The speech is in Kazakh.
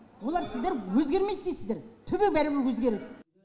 олар сіздер өзгермейді дейсіздер түбі бәрібір өзгереді